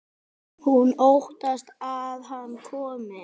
Hún óttast að hann komi.